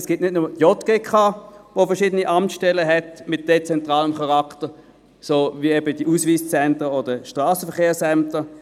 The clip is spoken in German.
Es gibt nicht nur die JGK, die verschiedene Amtsstellen mit dezentralem Charakter hat, wie etwa die Ausweiszentren oder die Strassenverkehrsämter.